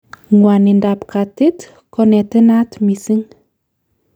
ngwonindap katit konenaat missing